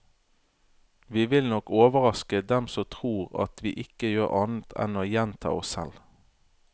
Vi vil nok overraske dem som tror at vi ikke gjør annet enn å gjenta oss selv.